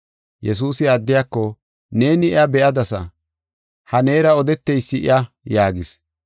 Yesuusi addiyako, “Neeni iya be7adasa; ha neera odeteysi iya” yaagis.